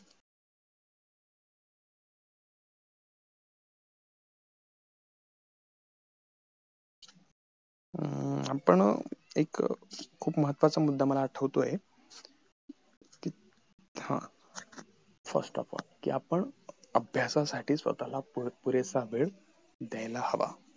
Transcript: अं आपण एक खूप महत्वाचा मुद्दा मला आठवतोय कि हा first आपण कि आपण अभ्यासासाठी स्वतःला पुरे पुरेसा वेळ द्यायला हवा